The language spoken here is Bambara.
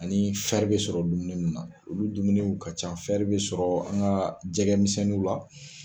Ani bɛ sɔrɔ dumuni minnu na olu dumuniw ka ca bɛ sɔrɔ an ka jɛgɛmisɛninw la.